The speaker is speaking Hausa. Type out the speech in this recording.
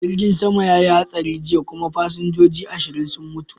Jirgin sama ya yi hatsari jiya kuma fasinjoji ashirin sun mutu.